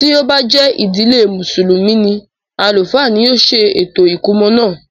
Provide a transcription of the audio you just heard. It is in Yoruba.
Ti o ba jẹ ìdílé musulumi ni, alufa ni yóò se ètò ìkómọ náà.